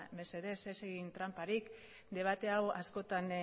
mesedez ez egin tranparik debate hau askotan